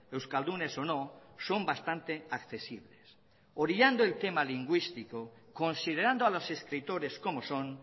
euskaldunes o no son bastante accesibles orillando el tema lingüístico considerando a los escritores como son